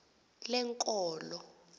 lenkolo